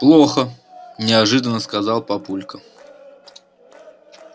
плохо неожиданно сказал папулька